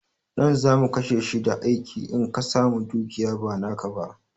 Ɗan zamu kashe shi da aiki in ka samu dukiya ba naka ba